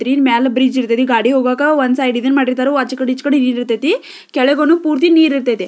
ಮೇಲ ಬ್ರಿಡ್ಜ್ ಇರ್ತಯ್ತಿ ರೀ ಗಾಡಿ ಹೋಗಕ್ಕ ಒಂದು ಸೈಡ್ ಇದುನ್ ಮಾಡಿರ್ತಾರೆ ಆಚ ಕಡೆ ಇಚ್ಚೆ ಕಡೆ ಇರ್ತತೀ ಕೆಳಗೂನು ಪೂರ್ತಿ ನೀರ್ ಇರ್ತಯ್ತಿ--